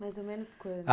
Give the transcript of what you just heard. Mais ou menos quando?